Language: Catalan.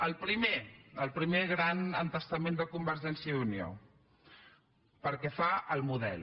el primer el primer gran entestament de convergència i unió pel que fa al model